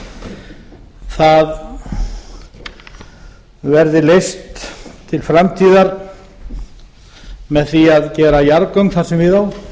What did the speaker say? hér á landi verði leyft til framtíðar með því að gera jarðgöng þar sem við